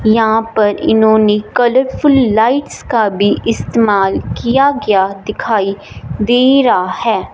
यहां पर इन्होंने कलरफुल लाइट्स का भी इस्तेमाल किया गया दिखाई दे रहा है।